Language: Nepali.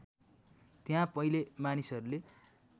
त्यहाँ पहिले मानिसहरूले